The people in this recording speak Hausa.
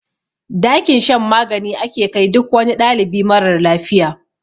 Dakin shan magani ake kai duk wani ɗalibi marar lafiya.